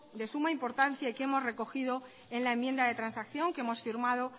de suma importancia y que hemos recogido en la enmienda de transacción que hemos firmado